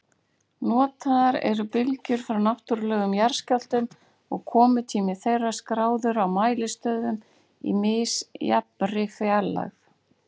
Notaðar eru bylgjur frá náttúrlegum jarðskjálftum og komutími þeirra skráður á mælistöðvum í misjafnri fjarlægð.